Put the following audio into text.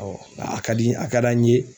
a ka di a ka d'an ye